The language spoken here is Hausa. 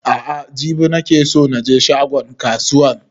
A'a jibi ne nake so na je shagon kasuwan